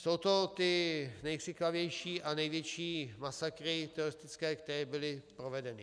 Jsou to ty nejkřiklavější a největší masakry teroristické, které byly provedeny.